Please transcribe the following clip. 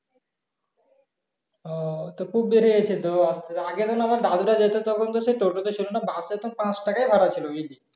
আহ তো খুব বেড়ে গাছে তো আগে যখন আমার দাদু রা যেত তখন তো সেই টোটো ছিল না bus এ তো পাচ টাকা এ ভাড়া ছিল